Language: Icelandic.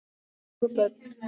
Fjögur börn.